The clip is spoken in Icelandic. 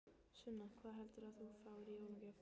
Sunna: Hvað heldurðu að þú fáir í jólagjöf?